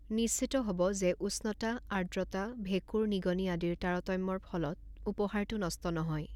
নিশ্চিত হ'ব যে উষ্ণতা, আৰ্দ্ৰতা, ভেঁকুৰ, নিগনি আদিৰ তাৰতম্যৰ ফলত উপহাৰটো নষ্ট নহয়।